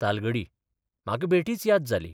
तालगडी म्हाका बेठीच याद जाली.